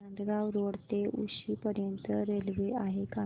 Nandgaon road ते उक्षी पर्यंत railway आहे का